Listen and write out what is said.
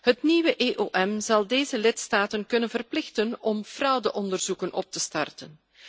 Het nieuwe EOM zal deze lidstaten kunnen verplichten om fraudeonderzoeken op te starten.